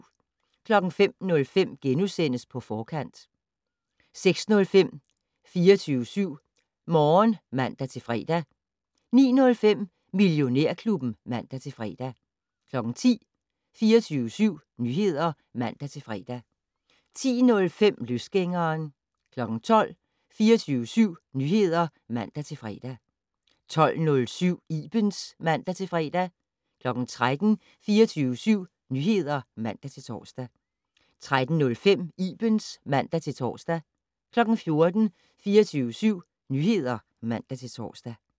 05:05: På Forkant * 06:05: 24syv Morgen (man-fre) 09:05: Millionærklubben (man-fre) 10:00: 24syv Nyheder (man-fre) 10:05: Løsgængeren 12:00: 24syv Nyheder (man-fre) 12:07: Ibens (man-fre) 13:00: 24syv Nyheder (man-tor) 13:05: Ibens (man-tor) 14:00: 24syv Nyheder (man-tor)